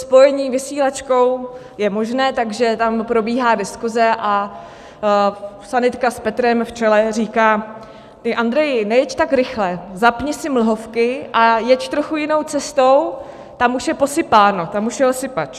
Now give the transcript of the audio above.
Spojení vysílačkou je možné, takže tam probíhá diskuse a sanitka s Petrem v čele říká: Ty, Andreji, nejeď tak rychle, zapni si mlhovky a jeď trochu jinou cestou, tam už je posypáno, tam už jel sypač.